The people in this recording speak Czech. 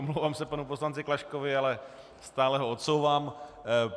Omlouvám se panu poslanci Klaškovi, ale stále ho odsouvám.